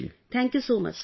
Thank you Preeti ji